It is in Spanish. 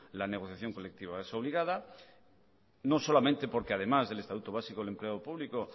la negociación colectiva es obligada no solamente porque además del estatuto básico del empleo público